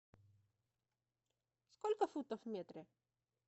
сколько футов в метре